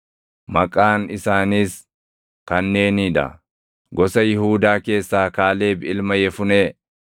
“Maqaan isaaniis kanneenii dha: “Gosa Yihuudaa keessaa, Kaaleb ilma Yefunee;